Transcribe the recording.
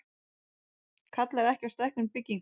Kallar ekki á stækkun bygginga